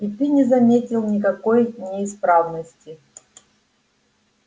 и ты не заметил никакой неисправности